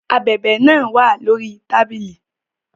Ábèbè náà wà lórí tábìlì